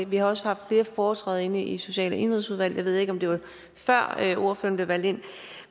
vi har også haft flere foretræder inde i social og indenrigsudvalget ved ikke om det var før ordføreren blev valgt ind